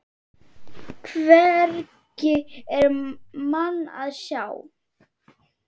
Hvergi er mann að sjá.